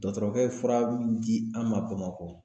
Dɔɔtɔrɔkɛ ye fura min di an ma Bamakɔ